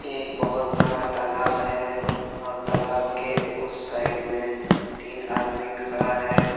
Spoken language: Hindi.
एक बहोत बड़ा तालाब है और तालाब के उस साइड में तीन आदमी खड़ा है।